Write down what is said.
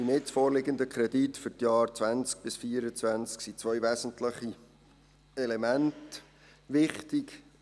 Beim jetzt vorliegenden Kredit für die Jahre 2020 bis 2024 sind zwei wesentliche Elemente wichtig.